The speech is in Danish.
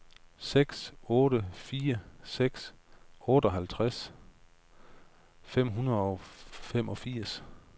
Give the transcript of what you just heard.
seks otte fire seks otteoghalvtreds fem hundrede og femogfirs